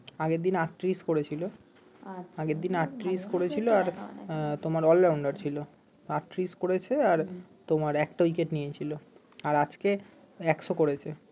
আগের দিন আটত্রিশ করেছিল আগের দিন আটত্রিশ করেছিল আর তোমার ছিল আটত্রিশ করেছে আর তোমার একটা উইকেট নিয়েছিল আর আজকে একশো করেছে